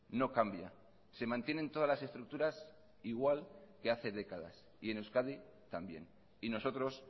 no cambia se mantienen todas las estructuras igual que hace décadas y en euskadi también y nosotros